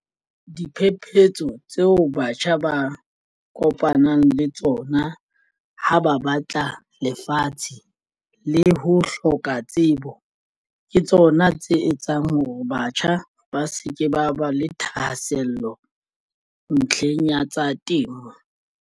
Diphephetso tseo batjha ba kopanang le tsona ha ba batla lefatshe le ho hloka tsebo ke tsona tse etsang hore batjha ba se ke ba ba le thahasello ntlheng ya tsa temo.